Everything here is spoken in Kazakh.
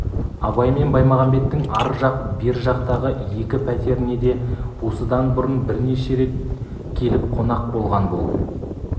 абай мен баймағамбеттің ар жақ бер жақтағы екі пәтеріне де осыдан бұрын бірнеше рет келіп қонақ болған бұл